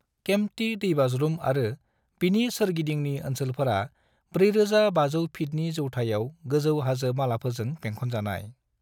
केम्प्टी दैबाज्रुम आरो बिनि सोरगिदिंनि ओनसोलफोरा 4,500 फीटनि जौथायाव गोजौ हाजो मालाफोरजों बेंखनजानाय।